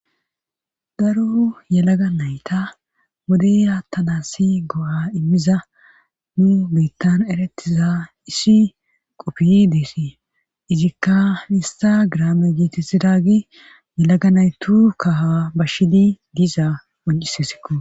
daro yalaga nayta wode yaattanassi go7a immiza nu biittan eretiza issi qoppiy deessi izikka ista graame geetesidagi yelaga naytu kaha bashshidi diza oncisesikko